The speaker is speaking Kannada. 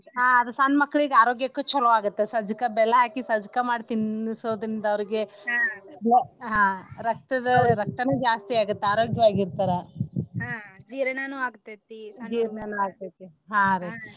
ಹಾ ಅದ ಸಣ್ಣ ಮಕ್ಕಳೀಗ ಆರೋಗ್ಯಕ್ಕು ಚೊಲೋ ಆಗುತ್ತ ಸಜ್ಜಕ್ಕ ಬೆಲ್ಲಾ ಹಾಕಿ ಸಜ್ಜಕಾ ಮಾಡಿ ತಿನ್ನಸೋದ್ರಿಂದ ಅವ್ರಿಗೆ ಹಾ ರಕ್ತದ ರಕ್ತಾನು ಜಾಸ್ತಿ ಆಗುತ್ತ ಆರೋಗ್ಯವಾಗಿ ಇರ್ತಾರ ಜೀರ್ಣಾನು ಆಗ್ತೇತಿ .